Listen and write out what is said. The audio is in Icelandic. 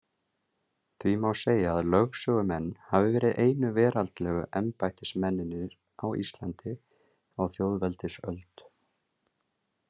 Því má segja að lögsögumenn hafi verið einu veraldlegu embættismennirnir á Íslandi á þjóðveldisöld.